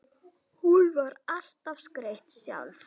Hún var alltaf skreytt sjálf.